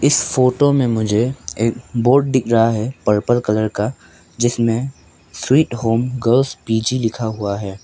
इस फोटो में मुझे एक बोर्ड दिख रहा है पर्पल कलर का जिसमें स्वीट होम गर्ल्स पी_जी लिखा हुआ है।